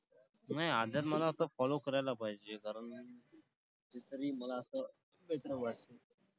नाही अर्घ्यात मला असं follow करायला पाहिजे. कारण मला असं वाटतं.